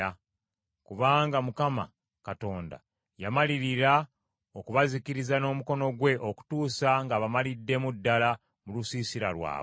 Kubanga Mukama Katonda yamalirira okubazikiriza n’omukono gwe okutuusa ng’abamaliddemu ddala mu lusiisira lwabwe.